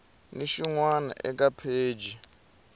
ni xin wana eka pheji